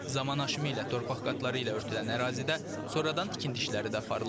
Zaman aşımı ilə torpaq qatları ilə örtülən ərazidə sonradan tikinti işləri də aparılıb.